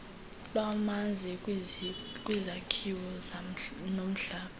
lwamanzi kwizakhiwo nomhlaba